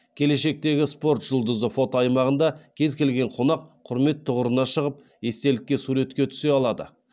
келешектегі спорт жұлдызы фотоаймағында кез келген қонақ құрмет тұғырына шығып естелікке суретке түсе алады